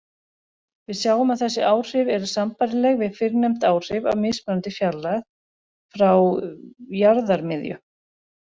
Við sjáum að þessi áhrif eru sambærileg við fyrrnefnd áhrif af mismunandi fjarlægð frá jarðarmiðju.